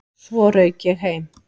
Svo rauk ég heim.